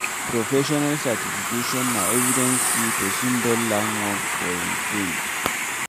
Professional certification na evidence sey person don learn work for im field